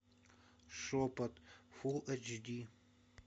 шепот фулл эйч ди